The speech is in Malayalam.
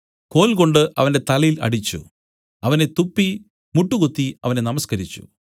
കോൽകൊണ്ട് അവന്റെ തലയിൽ അടിച്ചു അവനെ തുപ്പി മുട്ടുകുത്തി അവനെ നമസ്കരിച്ചു